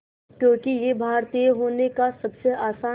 क्योंकि ये भारतीय होने का सबसे आसान